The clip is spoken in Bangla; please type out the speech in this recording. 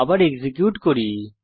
আবার এক্সিকিউট করি